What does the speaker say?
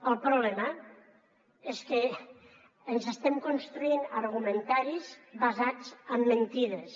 el problema és que ens estem construint argumentaris basats en mentides